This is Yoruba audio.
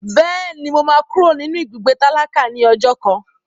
Bẹ́ẹ̀ni, mo máa kúrò nínú ibùgbé tálákà ní ọjọ́ kan.